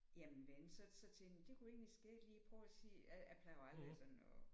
Jamen da så så tænkte jeg det kunne egentlig skægt lige at prøve og se jeg jeg plejer aldrig sådan at